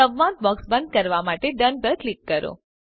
સંવાદ બોક્સ બંધ કરવા માટે ડોન પર ક્લિક કરો